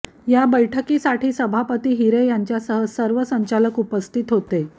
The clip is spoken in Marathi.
या बैठकीसाठी सभापती हिरे यांच्यासह सर्व संचालक उपस्थित होते